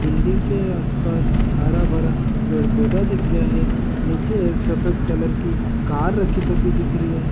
बिल्डिंग के आस पास हरा भरा पेड़ पौधा दिख रहा है निचे एक सफ़ेद कलर की कार थकी दिख रही है।